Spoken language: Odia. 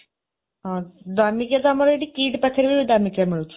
ହଁ, ଦାମିକାଆ ତ ଆମର ଏଠି କିଟ୍ ପାଖରେ ବି ଦାମିକିଆ ମିଳୁଛି।